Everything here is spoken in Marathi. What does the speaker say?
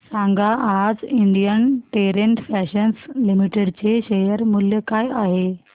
सांगा आज इंडियन टेरेन फॅशन्स लिमिटेड चे शेअर मूल्य काय आहे